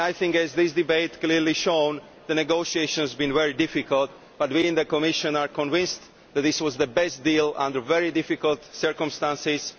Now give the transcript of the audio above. As this debate has clearly shown, the negotiations have been very difficult, but we in the Commission are convinced that this was the best deal under very difficult circumstances.